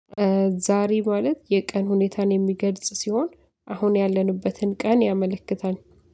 ዛሬ ማለት የቀን ሁኔታን የሚገልጽ ሲሆን አሁን ያለንበትን ቀን ያመለክታል።